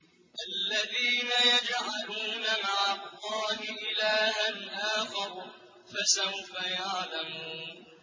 الَّذِينَ يَجْعَلُونَ مَعَ اللَّهِ إِلَٰهًا آخَرَ ۚ فَسَوْفَ يَعْلَمُونَ